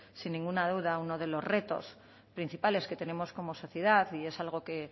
sin ninguna duda a uno de los retos principales que tenemos como sociedad y es algo que el